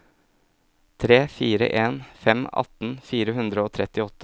tre fire en fem atten fire hundre og trettiåtte